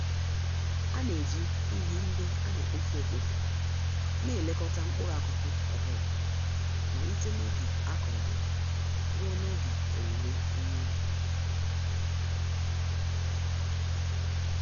Ana-eji ihe ndị anekpofu-ekpofu n'elekota mkpụrụ-akụkụ ọbula, malite n'oge akụrụ ha, ruo n'oge owuwe ihe ubi